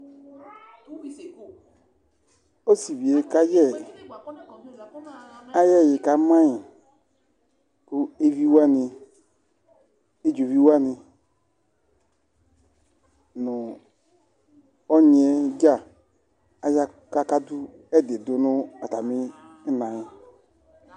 Ɔsivie kayɛ ayiʋ ɛyiɛ kamayiKʋ eviwani, ɛdzovi wani, nu ɔnyi yɛ dza aya kakadʋ ɛdi dʋ atamina yɛ